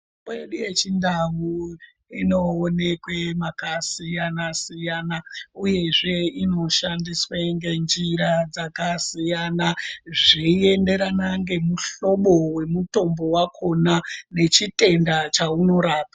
Mitombo yedu yechindau inoonekwa makasiyana siyana uyezve inoshandiswa ngenjira dzakasiyana dzeienderana nemihlobo wemitombo wakona nechitenda chaunoraoa.